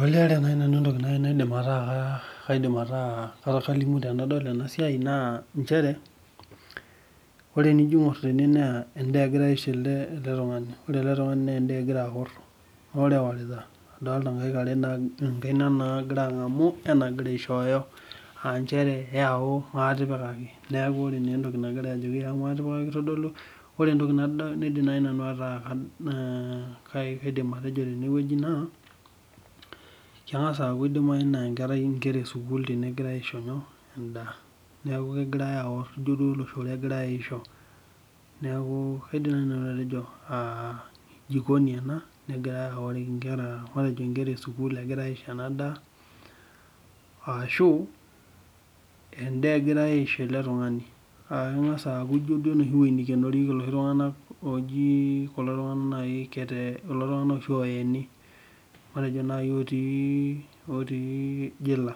Ore entoki naaji nanu naidim ataa kalimu tenadol ena siai naa nchere, ore tenijo aingor teneweji naa endaa egirae aisho ele tungani. Ore ele tungani naa endaa egirae aor, ore etira adolita enkaina nagira angamu wenagira aishooyo. Aa nchere yau maatipikaki neeku naa ore entoki nagira ajoki yau maatipikaki kitodolu ,ore entoki naaji nanu naidim atejo teneweji naa keidimayu naa nkera esukul teneweji engirae aisho endaa .Neeku kegirae aor ijo duo oloshoro egirae aisho. Neeku kaidim naaji nanu atejo jikoni ena ,negirae aoriki nkera matejo nkera esukul egirae aisho ena daa, ashu endaa agirae aisho ele tungani. Ijo duo eweji neikenorieki loshi tunganak oyeni matejo naaji otii jela.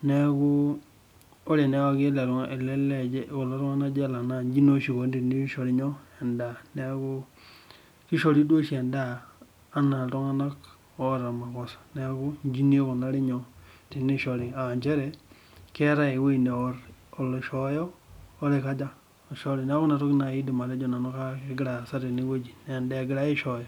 Neeku tenwaki naa ele lee jela neeku naa ijo oshi eikoni tenishori endaa .Neeku kishori duo oshi endaa enaa ltunganak oota makosa neeku inji naa ikunari tenishori aa nchere keetae eweji neor oloishooyo oloishori. neeku inatoki naaji nanu aidim atejo kegira aasa teneweji, endaa engirae aishooyo.